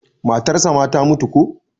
matarsa ma ta mutu ko?